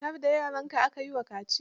Har da yaranka aka yi wa kaciyar?